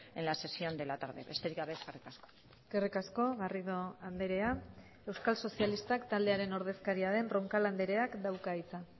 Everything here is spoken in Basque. en la sesión de la tarde besterik gabe eskerrik asko eskerrik asko garrido andrea euskal sozialistak taldearen ordezkaria den roncal andreak dauka hitza